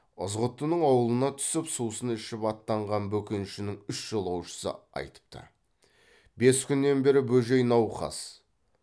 ызғұттының аулына түсіп сусын ішіп аттанған бөкеншінің үш жолаушысы айтыпты бес күннен бері бөжей науқас